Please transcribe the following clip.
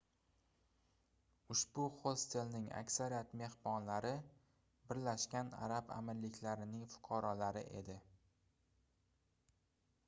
ushbu hostelning aksariyat mehmonlari birlashgan arab amirliklarining fuqarolari edi